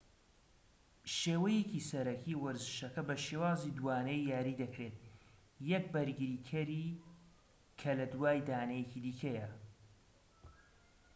ەشێوەیەکی سەرەکی وەرزشەکە بە شێوازی دووانەیی یاری دەکرێت یەک بەرگریکەری کە لە دوای دانەیەکی دیکەیە